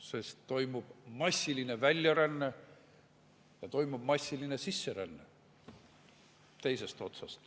Sellepärast, et toimub massiline väljaränne ja teisest otsast toimub massiline sisseränne.